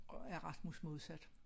Og er Rasmus Modsat